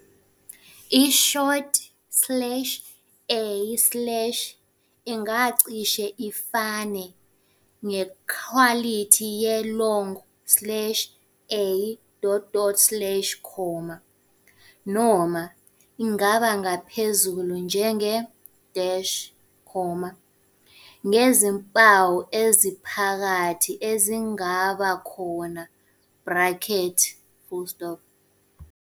I-short slash a slash ingacishe ifane ngekhwalithi ye-long slash a dot dot slash, noma ingaba phezulu njenge-, ngezimpawu eziphakathi ezingaba khona bracket.